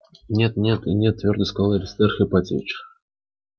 нет нет и нет твёрдо сказал аристарх ипатьевич